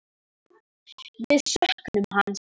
Við söknum hans.